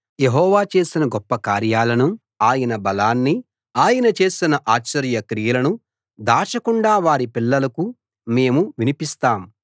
యెహోవా చేసిన గొప్ప కార్యాలను ఆయన బలాన్ని ఆయన చేసిన ఆశ్చర్య క్రియలను దాచకుండా వారి పిల్లలకు మేము వినిపిస్తాం